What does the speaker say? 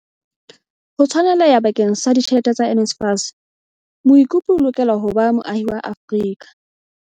Ho tshwaneleha bakeng sa ditjhelete tsa NSFAS, moikopedi o lokela ho ba moahi wa Afrika